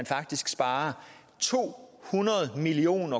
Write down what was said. faktisk sparer to hundrede million